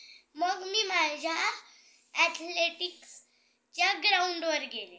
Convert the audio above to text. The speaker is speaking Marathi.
मग मि माझ्या athleticsच्या ground वर गेले.